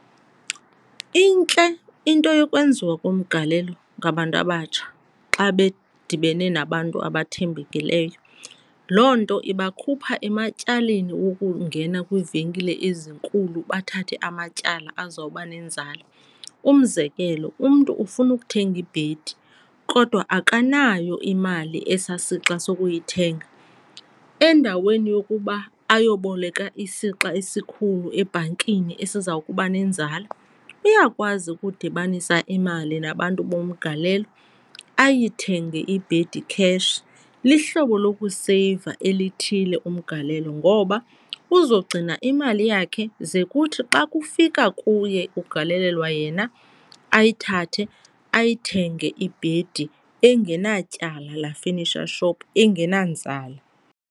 Intle into yokwenziwa komgalelo ngabantu abatsha xa bedibene nabantu abathembekileyo. Loo nto iba khupha ematyaleni wokungena kwiivenkile ezinkulu bathathe amatyala azawuba nenzala. Umzekelo, umntu ufuna ukuthenga ibhedi kodwa akanayo imali esaa sixa sokuyithenga. Endaweni yokuba ayobeleka isixa esikhulu ebhankini esiza kuba nenzala uyakwazi ukudibanisa imali nabantu bomgalelo ayithenge ibhedi cash. Lihlobo lokuseyiva elithile umgalelo ngoba uzawugcina imali yakhe ze kuthi xa kufika kuye kugalelelwa yena ayithathe ayithenge ibhedi engenatyala la-furniture shop engenanzala.